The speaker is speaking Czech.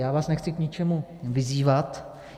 Já vás nechci k ničemu vyzývat.